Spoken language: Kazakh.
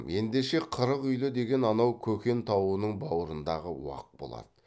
ендеше қырық үйлі деген анау көкен тауының бауырындағы уақ болады